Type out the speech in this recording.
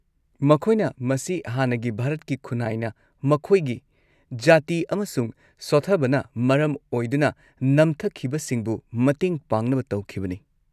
ꯃꯈꯣꯏꯅ ꯃꯁꯤ ꯍꯥꯟꯅꯒꯤ ꯚꯥꯔꯠꯀꯤ ꯈꯨꯟꯅꯥꯏꯅ ꯃꯈꯣꯏꯒꯤ ꯖꯥꯇꯤ ꯑꯃꯁꯨꯡ ꯁꯣꯊꯕꯅ ꯃꯔꯝ ꯑꯣꯏꯗꯨꯅ ꯅꯝꯊꯈꯤꯕꯁꯤꯡꯕꯨ ꯃꯇꯦꯡ ꯄꯥꯡꯅꯕ ꯇꯧꯈꯤꯕꯅꯤ꯫